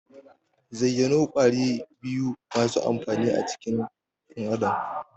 Zayyano Ƙwari biyu masu amfani a cikin dan Adam?